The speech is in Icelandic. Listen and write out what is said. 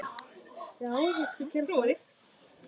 Hjartað herti á sér.